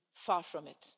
Far from it.